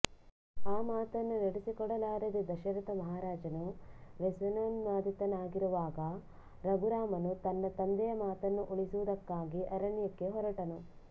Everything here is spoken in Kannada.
ಆ ಮಾತನ್ನು ನಡಸಿಕೊಡಲಾರದೆ ದಶರಥ ಮಹಾರಾಜನು ವ್ಯಸನೋನ್ಮಾದಿತನಾಗಿರುವಾಗ ರಘುರಾಮನು ತನ್ನ ತಂದೆಯ ಮಾತನ್ನು ಉಳಿಸುವುದಕ್ಕಾಗಿ ಅರಣ್ಯಕ್ಕೆ ಹೊರಟನು